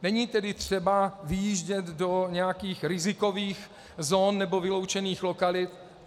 Není tedy třeba vyjíždět do nějakých rizikových zón nebo vyloučených lokalit.